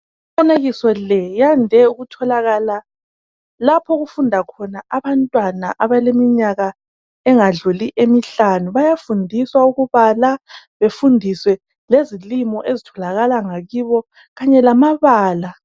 Imifanekiso le yande ukutholakala lapho okufunda khona abantwana abaleminyaka engadluli emihlanu. Bayafundiswa ukubala befundise lezilimo ezitholakala ngakibo kanya lamabala.